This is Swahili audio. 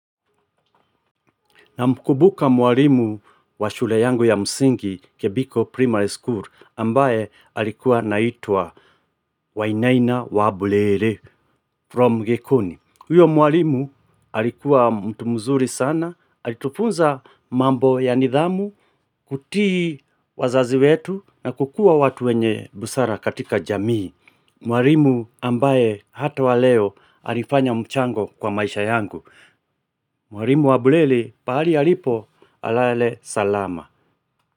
Namkubuka mwarimu wa shule yangu ya msingi, Kebiko Primary School, ambaye alikuwa anaitwa Wainaina Wabulele from Gekoni. Huyo mwarimu alikuwa mtu mzuri sana, alitufunza mambo ya nidhamu, kutii wazazi wetu, na kukua watu wenye busara katika jamii. Mwarimu ambaye hata wa leo alifanya mchango kwa maisha yangu. Mwari mwabuleli, pali alipo, alale salama.